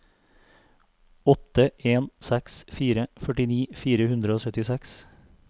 åtte en seks fire førtini fire hundre og syttiseks